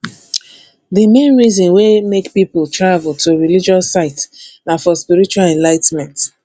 di main reason wey make pipo travel to religious sites na for spiritual enligh ten ment